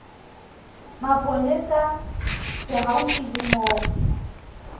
mapolesa se haufi le moo